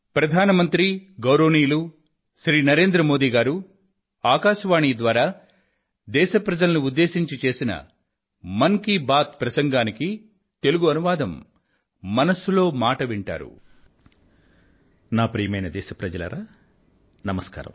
ప్రియమైన నా దేశ వాసులారా నమస్కారం